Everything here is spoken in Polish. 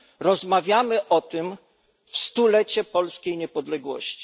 Rozmawiamy o tym w stulecie polskiej niepodległości.